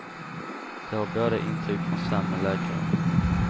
De har båda intyg från samme läkare.